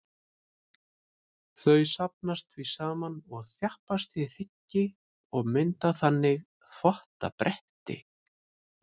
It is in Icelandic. Þau safnast því saman og þjappast í hryggi og mynda þannig þvottabretti.